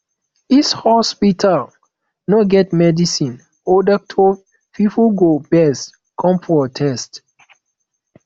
if hospital no get medicine or doctor pipo go vex come protest